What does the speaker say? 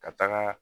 Ka taga